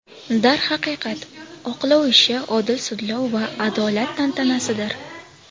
Darhaqiqat, oqlov ishi odil sudlov va adolat tantanasidir.